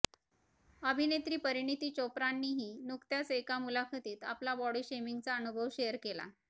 अभिनेत्री परिणिती चोप्रानंही नुकत्याच एका मुलाखतीत आपला बॉडी शेमिंगचा अनुभव शेअर केला